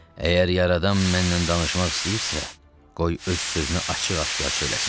Əgər yaradan məndən danışmaq istəyirsə, qoy öz sözünü açıq-aşkar söyləsin.